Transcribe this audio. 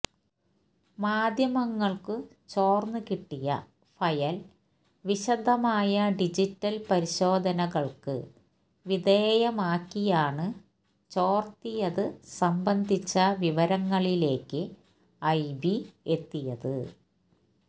മാധ്യമങ്ങള്ക്കു ചോര്ന്നു കിട്ടിയ ഫയല് വിശദമായ ഡിജിറ്റല് പരിശോധനകള്ക്ക് വിധേയമാക്കിയാണു ചോര്ത്തിയതു സംബന്ധിച്ച വിവരങ്ങളിലേയ്ക്ക് ഐബി എത്തിയത്